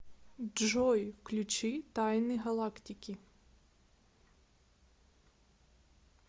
джой включи тайны галактики